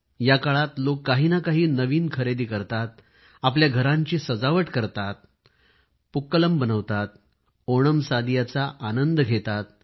या काळात लोक काही ना काही नवीन खरेदी करतात आपल्या घरांची सजावट करतात पक्क्लम बनवतात ओणमसादियाचा आनंद घेतात